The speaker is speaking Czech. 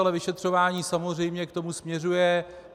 Ale vyšetřování samozřejmě k tomu směřuje.